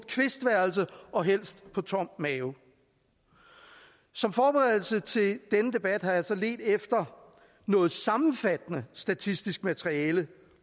kvistværelse og helst på tom mave som forberedelse til denne debat har jeg så ledt efter noget sammenfattende statistisk materiale